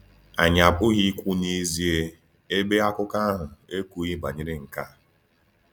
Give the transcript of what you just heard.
Anyị apụghị ikwu n’ezie, ebe akụkọ ahụ ekwughị banyere nke a.